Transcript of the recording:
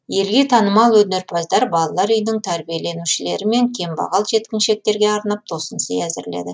елге танымал өнерпаздар балалар үйінің тәрбиеленушілері мен кембағал жеткіншектерге арнап тосынсый әзірледі